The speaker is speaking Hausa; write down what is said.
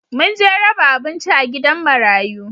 Mun je raba abinci a gidan marayu